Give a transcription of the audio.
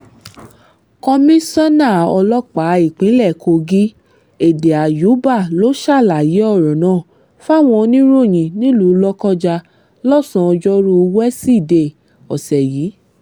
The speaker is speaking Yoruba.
komisanna ọlọ́pàá ìpínlẹ̀ kogi èdè àyùbá ló ṣàlàyé ọ̀rọ̀ náà fáwọn oníròyìn nílùú lọ́kọjá lọ́sàn ọjọ́rùú wíṣídẹ̀ẹ́ ọ̀sẹ̀ yìí